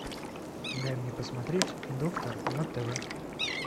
дай мне посмотреть доктор на тв